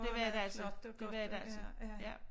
Det var det altså det var det altså ja